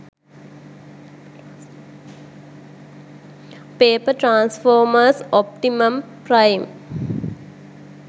paper transformers optimum prime